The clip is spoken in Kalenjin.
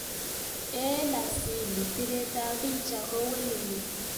"Eng asili piret ab picha ko weleli."